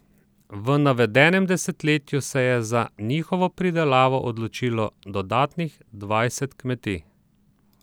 V navedem desetletju se je za njihovo pridelavo odločilo dodatnih dvajset kmetij.